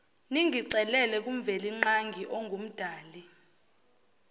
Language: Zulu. ningicelele kumvelinqangi ongumdali